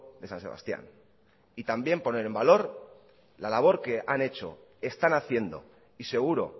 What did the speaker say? de san sebastián y también poner en valor la labor que han hecho están haciendo y seguro